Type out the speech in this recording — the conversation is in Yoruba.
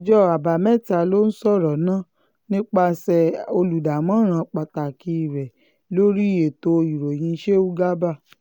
ọjọ́ àbámẹ́ta ló sọ̀rọ̀ náà nípasẹ̀ olùdámọ̀ràn pàtàkì rẹ̀ lórí ètò ìròyìn sheu garba